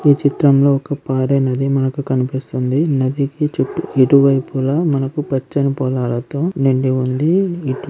ఈ చిత్రం లో ఒక పారే నది మనకు కన్పిస్తుంది నదికి చుట్టూ ఇరువైపులా మనకు పచ్చని పొలాలతో నిండి ఉంది.